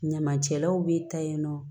Ɲamacɛlaw bɛ taa yen nɔ